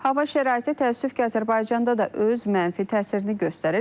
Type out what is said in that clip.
Hava şəraiti təəssüf ki, Azərbaycanda da öz mənfi təsirini göstərir.